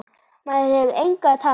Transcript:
Maður hefur engu að tapa.